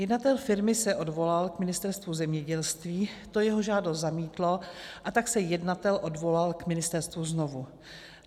Jednatel firmy se odvolal k Ministerstvu zemědělství, to jeho žádost zamítlo, a tak se jednatel odvolal k ministerstvu znovu.